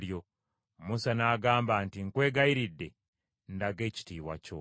Musa n’agamba nti, “Nkwegayiridde, ndaga ekitiibwa kyo.”